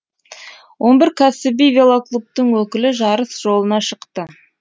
он бір кәсіби велоклубтың өкілі жарыс жолына шықты